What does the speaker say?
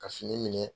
Ka fini minɛ